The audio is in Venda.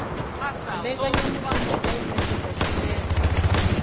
mbekanyamushumo dza u ṅetshedza tshumelo